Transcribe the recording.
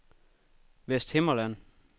Vesthimmerland